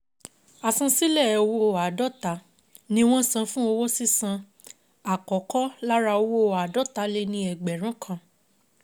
(i) Àsansílẹ̀ owó àádọ́ta ni wọ́n san fún owó sísan àkọ́kọ́ lára owó àádọ́ta-lé-ní-ẹgbẹ̀rún kan.